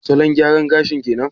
Salon gyaran gashin kenan?